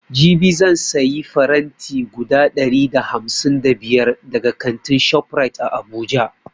Jibi zan sayi faranti guda ɗari da hamsin da biyar daga kantin shoprite a abuja